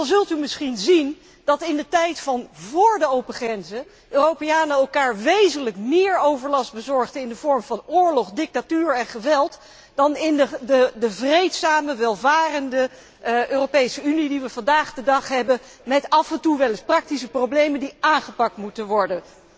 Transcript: Want dan zult u misschien zien dat in de tijd van vóór de open grenzen Europeanen elkaar wezenlijk meer overlast bezorgden in de vorm van oorlog, dictatuur en geweld, dan in de vreedzame, welvarende Europese Unie die wij vandaag de dag hebben, met af en toe wel eens praktische problemen die aangepakt moeten worden.